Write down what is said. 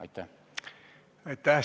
Aitäh!